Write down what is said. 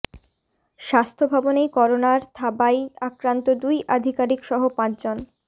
স্বাস্থ্য ভবনেই করোনার থাবায় আক্রান্ত দুই আধিকারিক সহ পাঁচজন